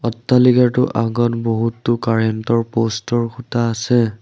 অট্টালিকাটোৰ আগত বহুতো কাৰেন্ট ৰ প'ষ্ট ৰ খুঁটা আছে।